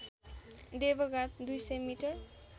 देवघाट २०० मि